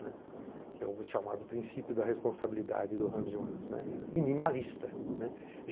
que é o chamado princípio da responsabilidade do Hans Jonas, minimalista.